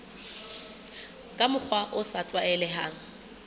ka mokgwa o sa tlwaelehang